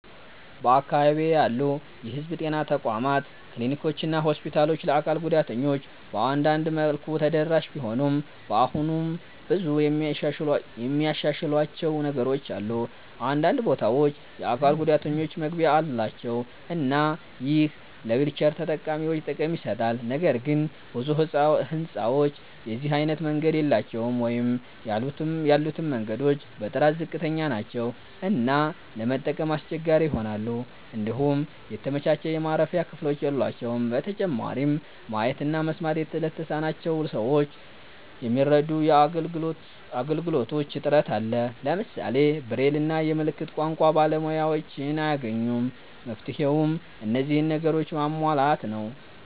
በአካባቢዬ ያሉ የህዝብ ጤና ተቋማት ክሊኒኮችና ሆስፒታሎች ለአካል ጉዳተኞች በአንዳንድ መልኩ ተደራሽ ቢሆኑም አሁንም ብዙ የሚያሻሽሏቸው ነገሮች አሉ። አንዳንድ ቦታዎች የአካል ጉዳተኞች መግቢያ አላቸው እና ይህ ለዊልቸር ተጠቃሚዎች ጥቅም ይሰጣል። ነገር ግን ብዙ ህንጻዎች የዚህ አይነት መንገድ የላቸውም ወይም ያሉትም መንገዶች በጥራት ዝቅተኛ ናቸው እና ለመጠቀም አስቸጋሪ ይሆናሉ። እንዲሁም የተመቻቸ የማረፊያ ክፍሎች የሏቸውም። በተጨማሪም ማየት እና መስማት ለተሳናቸው ሰዎች የሚረዱ አገልግሎቶች እጥረት አለ። ለምሳሌ ብሬል እና የምልክት ቋንቋ ባለሙያዎችን አይገኙም። መፍትሄውም እነዚህን ነገሮች ማሟላት ነው።